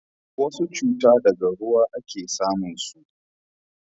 wasu cuta daga ruwa a ke samun su